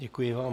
Děkuji vám.